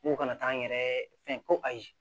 N ko kana taa n yɛrɛ fɛn ko ayi